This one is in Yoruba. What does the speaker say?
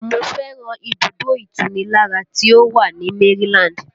Mo fẹ́ràn ibùdó ìtunilára tí ó wà ní Maryland